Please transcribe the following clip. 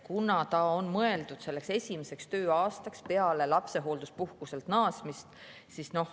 See on mõeldud esimeseks tööaastaks peale lapsehoolduspuhkuselt naasmist.